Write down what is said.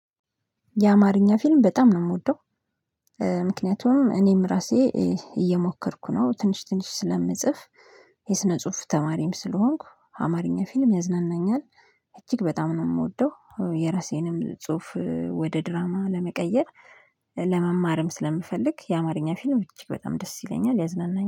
የአማርኛ ፊልም በጣም ነው የምወደው። ምክንያቱም እኔም ራሴ እየሞከርኩ ነው ትንሽ ትንሽ ስለምጽፍ የስነ ጽሁፍ ተማሪም ስለሆንኩ አማርኛ ፊልም ያዝናናኛል። እጅግ በጣም ነው የምወደው የራሴንም ጽሁፍ ወደ ድራማ ለመቀየር። ለመማርም ስለምፈልግ የአማርኛ ፊልም ይቺ በጣም ደስ ይለኛል ያዝናናኛል